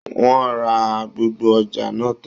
Wọ́n a ra gbogbo ọjà náà tán